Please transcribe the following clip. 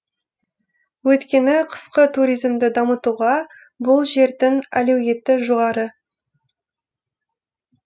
өйткені қысқы туризмді дамытуға бұл жердің әлеуеті жоғары